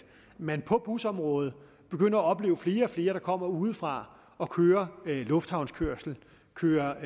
man på busområdet begynder at opleve flere og flere der kommer udefra og kører lufthavnskørsel kører